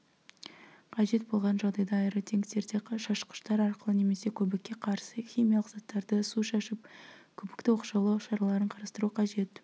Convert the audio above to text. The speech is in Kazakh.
қажет болған жағдайда аэротенктерде шашқыштар арқылы немесе көбікке қарсы химиялық заттарды су шашып көбікті оқшаулау шараларын қарастыру қажет